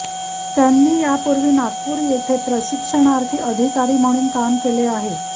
त्यांनी यापूर्वी नागपूर येथे प्रशिक्षणार्थी अधिकारी म्हणून काम केले आहे